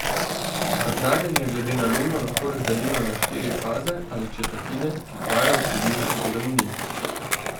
Vrtnarjenje glede na luno lahko razdelimo na štiri faze ali četrtine, ki trajajo približno sedem dni.